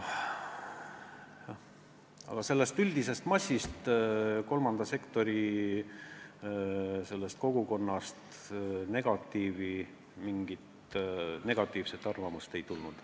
Aga üldisest massist, kolmanda sektori kogukonnast mingit negatiivset arvamust ei tulnud.